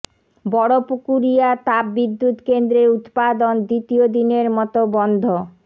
বড়পুকুরিয়া তাপ বিদ্যুৎ কেন্দ্রের উৎপাদন দ্বিতীয় দিনের মতো বন্ধ